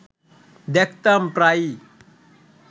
দেখতাম প্রায়ই